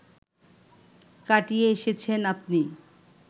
কাটিয়ে এসেছেন আপনি